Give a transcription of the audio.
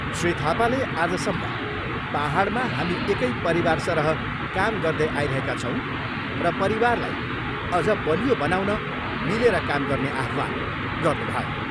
श्री थापाले आजसम्म पाहाडमा हामी एकै परिवारसरह काम गर्दै आइरहेका छौँ र परिवारलाई अझ बलियो बनाउन मिलेर काम गर्ने आह्वान गर्नुभयो।